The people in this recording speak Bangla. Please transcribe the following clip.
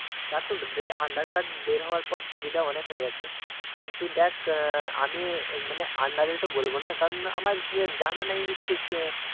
তা তো aadhar card বের হবার পর সুবিধা অনিক হয়ে গেছে কিন্তু দেখ আহ আমি মানে আন্দাজে তো বলবো না কারণ আমার যেজানানেই ঠিক